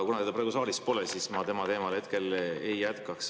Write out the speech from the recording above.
Kuna teda praegu saalis pole, siis ma tema teemal hetkel ei jätkaks.